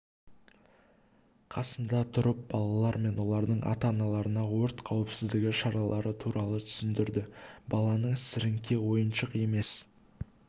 қасында тұрып балалар мен олардың ата-аналарына өрт қауіпсіздігі шаралары туралы түсіндірді баланың сіріңке ойыншық емес